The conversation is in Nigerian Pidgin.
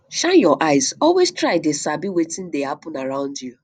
shine your eyes always try dey sabi wetin dey happen around you